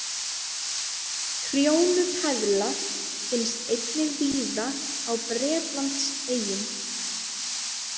Trjónupeðla finnst einnig víða á Bretlandseyjum.